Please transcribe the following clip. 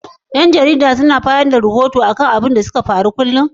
Yan jarida suna bayar da rahoton abubuwan da suka faru kulum?